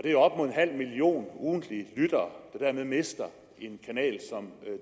halv million ugentlige lyttere der dermed mister en kanal som